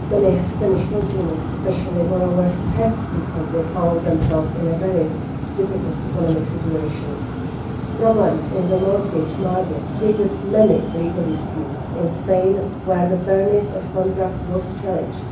Yes, many Spanish consumers, especially borrowers, have recently found themselves in a very difficult economic situation. Problems in the mortgage market triggered many legal disputes in Spain, where the fairness of contracts was challenged.